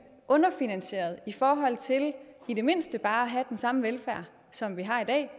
underfinansieret i forhold til i det mindste bare have den samme velfærd som vi har i dag